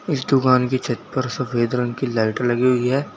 इस दुकान की छत पर सफेद रंग की लाइट लगी हुई है।